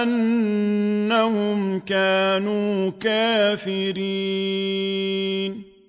أَنَّهُمْ كَانُوا كَافِرِينَ